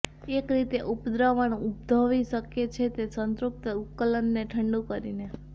એક રીતે ઉપદ્રવણ ઉદ્ભવી શકે છે તે એક સંતૃપ્ત ઉકેલને ઠંડુ કરીને